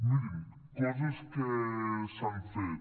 mirin coses que s’han fet